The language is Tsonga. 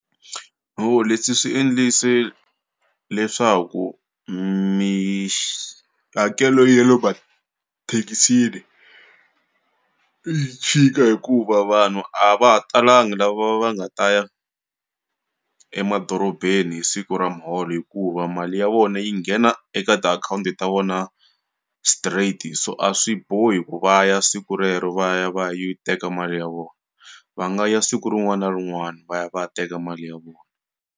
leswi swi endlise leswaku mihakelo ya le mathekisini yi chika hikuva vanhu a va ha talanga lava va nga ta ya emadorobeni hi siku ra muholo hikuva mali ya vona yi nghena eka tiakhawunti ta vona straight so a swi bohi ku va ya siku rero va ya va ya yi teka mali ya vona va nga ya siku rin'wana na rin'wana va ya va ya teka mali ya vona.